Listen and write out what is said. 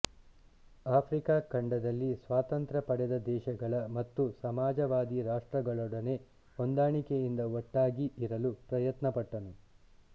Africa ಖಂಡದಲ್ಲಿ ಸ್ವಾತಂತ್ರ್ಯ ಪಡೆದ ದೇಶಗಳ ಮತ್ತು ಸಮಾಜವಾದಿ ರಾಷ್ಟ್ರಗಳೊಡನೆ ಹೊಂದಾಣಿಕೆಯಿಂದ ಒಗ್ಗಟ್ಟಾಗಿ ಇರಲು ಪ್ರಯತ್ನಪಟ್ಟನು